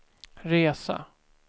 resa